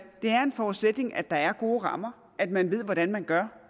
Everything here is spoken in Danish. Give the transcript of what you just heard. er en forudsætning at der er gode rammer at man ved hvordan man gør